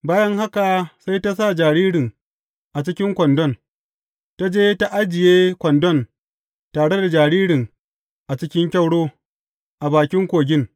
Bayan haka sai ta sa jaririn a cikin kwandon, ta je ta ajiye kwandon tare da jaririn a cikin kyauro, a bakin kogin.